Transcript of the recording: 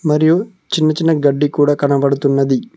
మరియు చిన్న చిన్న గడ్డి కూడా కనపడుతున్నది.